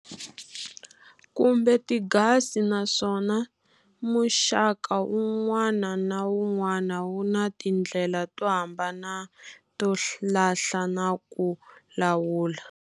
Kumbe tigasi naswona muxaka wun'wana na wun'wana wu na tindlela to hambana to lahla na ku lawula.